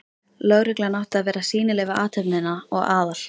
Lögreglan átti að vera sýnileg við athöfnina og Aðal